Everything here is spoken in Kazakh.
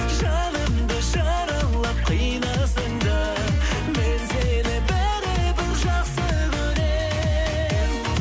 жанымды жаралап қинасаң да мен сені бәрібір жақсы көрем